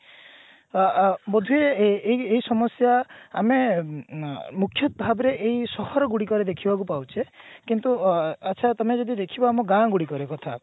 ତ ଅ ବୋଧହୁଏ ଏ ଏଇ ଏଇ ସମସ୍ଯା ଆମେ ମୁଖ୍ଯତଃ ଭାବରେ ଏଇ ସହର ଗୁଡିକରେ ଦେଖିବାକୁ ପାଉଛେ କିନ୍ତୁ ଅ ଆଛା ତମେ ଯଦି ଦେଖିବା ଆମ ଗାଁ ଗୁଡିକର କଥା